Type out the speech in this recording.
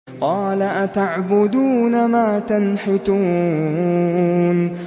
قَالَ أَتَعْبُدُونَ مَا تَنْحِتُونَ